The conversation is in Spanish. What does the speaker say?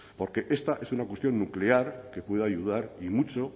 porque esta es una cuestión nuclear que puede ayudar y mucho